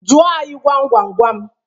Jụọ anyị gwam gwam gwam!